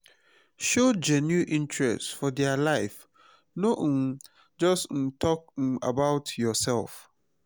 show genuine interest for their life no um just um talk um about yourself.